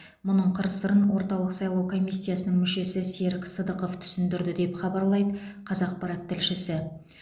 мұның қыр сырын орталық сайлау комиссиясының мүшесі серік сыдықов түсіндірді деп хабарлайды қазақпарат тілшісі